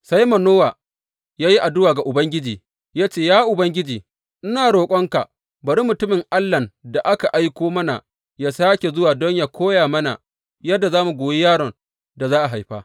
Sai Manowa ya yi addu’a ga Ubangiji ya ce, Ya Ubangiji, ina roƙonka, bari mutumin Allahn da ka aiko mana yă sāke zuwa don yă koya mana yadda za mu goyi yaron da za a haifa.